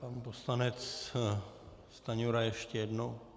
Pan poslanec Stanjura ještě jednou.